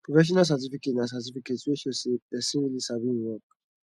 professional certificate na certificate wey show sey person really sabi im work